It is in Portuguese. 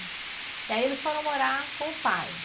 E aí, eles foram morar com o pai?